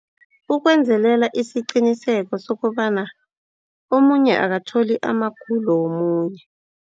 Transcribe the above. Ukwenzelela isiqiniseko sokobana omunye akakatholi amagulo womunye.